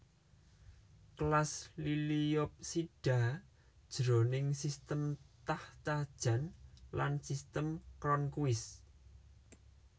Kelas Liliopsida jroning sistem Takhtajan lan sistem Cronquist